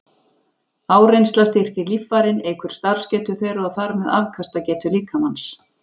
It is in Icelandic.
Áreynsla styrkir líffærin, eykur starfsgetu þeirra og þar með afkastagetu líkamans.